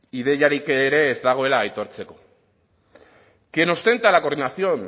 ideiarik ere ez dagoela aitortzeko quien ostenta la coordinación